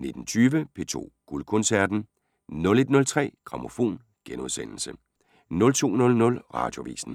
19:20: P2 Guldkoncerten 01:03: Grammofon * 02:00: Radioavisen